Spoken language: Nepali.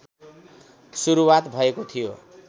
सुरुवात भएको थियो